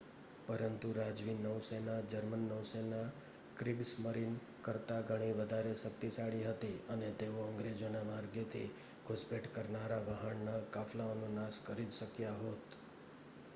"પરંતુ રાજવી નૌસેના જર્મન નૌસેના "ક્રિગસ્મરીન" કરતા ઘણી વધારે શક્તિશાળી હતી અને તેઓ અંગ્રેજોના માર્ગેથી ઘુસપેઠ કરનારા વહાણના કાફલાઓનો નાશ કરી જ શક્યા હોત.